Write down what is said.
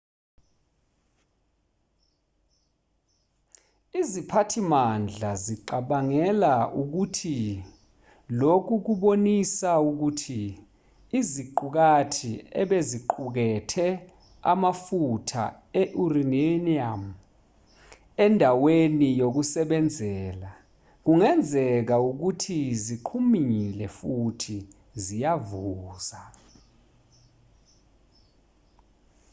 iziphathimandla zicabangela ukuthi lokhu kubonisa ukuthi iziqukathi ebeziqukethe amafutha e-uranium endaweni yokusebenzela kungenzeka ukuthi ziqhumile futhi ziyavuza